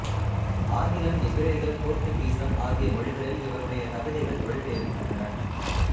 ஆங்கிலம் எபிரேயம் போர்த்துக்கீசம் ஆகிய மொழிகளில் இவருடைய கவிதைகள் மொழிபெயர்க்கப்பட்டன